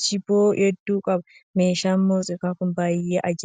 shiboo hedduu qaba. Meeshaan muuziqaa Kun baay'ee ajaa'ibaa